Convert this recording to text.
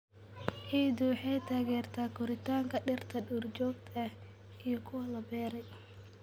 Ciiddu waxay taageertaa koritaanka dhirta duurjoogta ah iyo kuwa la beeray.